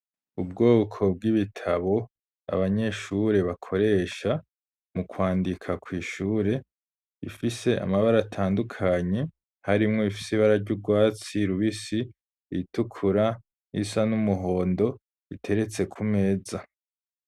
Ubwoko bw'ibitabo, Abanyeshure bakoresha, mu kwandika kw'ishure, ifise Amabara atandukanye, harimwo irifis'ibara ry'urwatsi rubisi, itukura isa n'umuhondo iteretse ku meza.